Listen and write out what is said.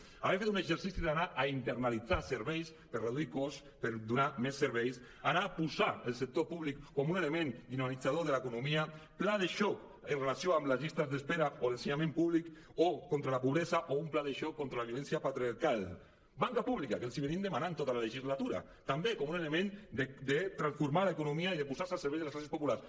podien haver fet un exercici d’anar a internacionalitzar serveis per reduir cost per donar més serveis anar a posar el sector públic com un element dinamitzador de l’economia pla de xoc amb relació amb les llistes d’espera o l’ensenyament públic o contra la pobresa o un pla de xoc contra la violència patriarcal banca pública que els l’hem demanat tota la legislatura també com un element de transformar l’economia i de posar se al servei de les classes populars